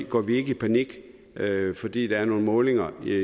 går vi ikke i panik fordi der er nogle målinger